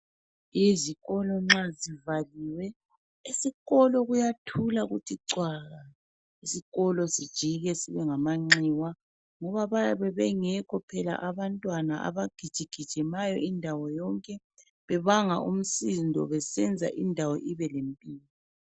Izikolo nxa zivaliwe esikolo kuyathula kuthi cwaka. Isikolo sijike sibengamanxiwa ngoba bayabe bengekho phela abantwana abagijigijimayo indawo yonke, bebanga umsindo besenza indawo ibelempilo.